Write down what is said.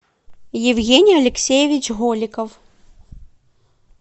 евгений алексеевич голиков